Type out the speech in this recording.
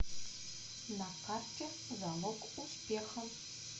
на карте залог успеха